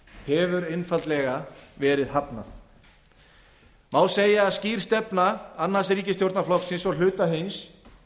hefur einfaldlega verið hafnað má segja að skýr stefna annars ríkisstjórnarflokksins og hluta hins